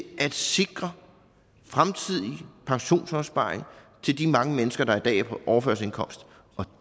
at sikre fremtidig pensionsopsparing til de mange mennesker der i dag er på overførselsindkomst og